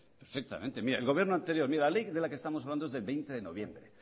perfectamente el gobierno anterior mire la ley de la que estamos hablando es del veinte de noviembre